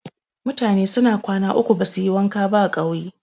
Mutane suna kwana uku basuyi wanka ba a ƙauye.